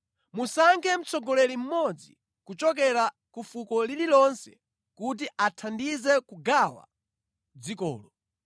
Musankhe mtsogoleri mmodzi kuchokera ku fuko lililonse kuti athandize kugawa dzikolo.